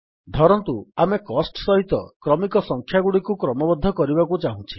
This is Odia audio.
ଧରନ୍ତୁ ଆମେ କୋଷ୍ଟ ସହିତ କ୍ରମିକ ସଂଖ୍ୟାଗୁଡ଼ିକୁ କ୍ରମବଦ୍ଧ କରିବାକୁ ଚାହୁଁଛେ